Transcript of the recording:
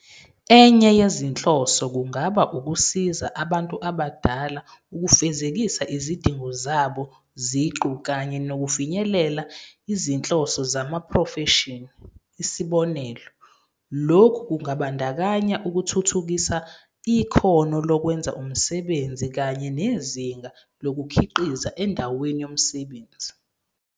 Enye yezinhloso kungaba ukusiza a bantu abadala ukufezekisa izidingo zabo ziqu kanye nokufinyelela izinhloso zezamaprofeshini. Isibonelo, lokhu kungabandakanya ukuthuthukisa ikhono lokwenza umsebenzi kanye nezinga lokukhiqiza endaweni yomsebenzi.